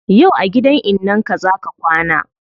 Yau a gidan innan ka zaa ka kwana